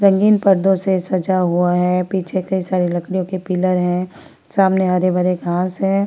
रंगीन पर्दो से सजा हुआ है पीछे कई सारे लकड़ियों के पिलर है सामने हरे-भरे घास है।